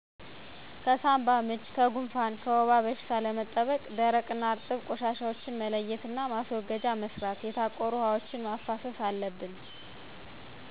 ለሳባምች ለጉፍን ለወባበሽታ ያጋልጣሉ ደረቅ እነ እርጥብ ቆሻሻወችን መለየት ማስወገዣ መስራት የታቆሩ ውሀወችን ማፋሰሰ አለብን